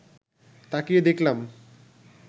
তাকিয়ে দেখলাম